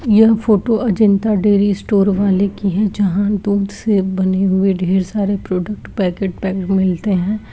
यह photo Ajanta dairy store वाले की हैं जहां दूध से बनी हुई ढेर सारे प्रोडक्ट्स पाकेट पैक्ड हुए मिलते हैं।